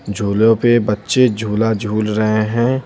झूलों पे बच्चे झूला झूल रहे हैं।